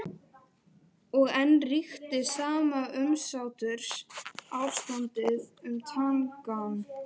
Og enn ríkti sama umsáturs- ástandið um Tangann.